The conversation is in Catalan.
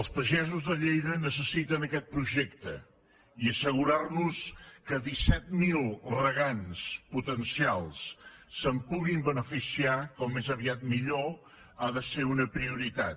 els pagesos de lleida necessiten aquest projecte i assegurar nos que disset mil regants potencials se’n pugui beneficiar com més aviat millor ha de ser una prioritat